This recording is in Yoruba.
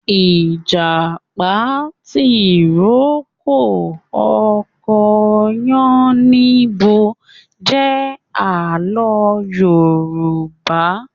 Ìjàpá tìrókó ọkọ yánníbo jẹ àlọ́ Yorùbá